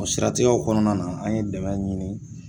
O siratigɛw kɔnɔna na an ye dɛmɛ ɲini